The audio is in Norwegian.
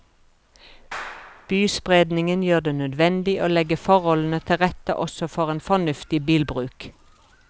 Byspredningen gjør det nødvendig å legge forholdene til rette også for en fornuftig bilbruk.